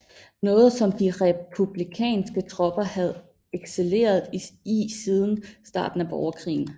Noget som de republikanske tropper havde excelleret i siden starten af borgerkrigen